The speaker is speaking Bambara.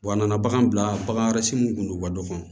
Wa a nana bagan bila bagan wɛrɛ si mun kun don ka dɔgɔ